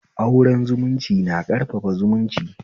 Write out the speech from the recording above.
Auren zumunci na ƙarfafa zumunci